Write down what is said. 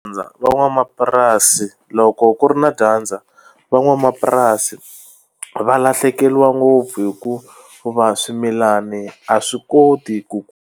Van'wamapurasi loko ku ri na dyandza van'wamapurasi va lahlekeriwa ngopfu hikuva swimilani a swi koti ku.